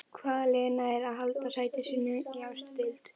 Hvaða lið nær að halda sæti sínu í efstu deild?